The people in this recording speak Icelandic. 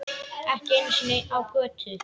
Ekki einu sinni á götu.